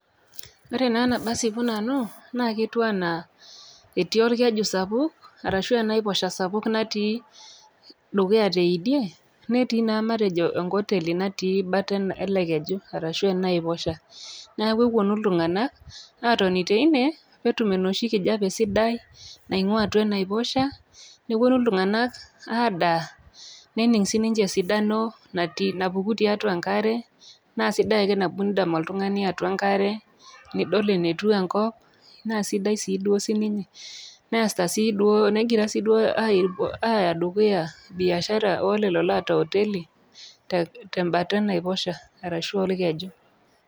Ore naa tenasipu nanu etiu anaa etii olkeju sapuk arashu enaiposho dukuya teidie, netii naa enkoteli natii bata ele keju arashu ena aiposha, neaku epuonu iltung'ana awueni teine pee etum enoshi kijape sidai, naingua atua enaiposha nepuonu iltung'ana aadaa, nening sii ninche esidano natii napuku tiatua enkare, naa sidai ake nabo indam iltung'ani atua enkare, niidol enetiu enkop naa sidai sii duo siininye. Negira sii duo aaya dukuya biashara e lelo oata hoteli tembata e naiposha arashu olkeju.